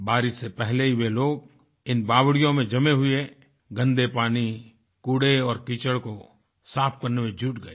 बारिश से पहले ही वे लोग इन बावड़ियों में जमे हुए गंदे पानी कूड़े और कीचड़ को साफ करने में जुट गये